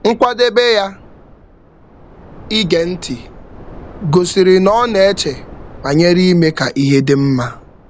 Nkwadebe ya ige ntị gosịrị n' ọ na-eche banyere ime ka ihe dị mma.